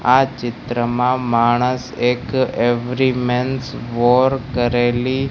આ ચિત્રમાં માણસ એક એવરીમેન્સ વોર કરેલી--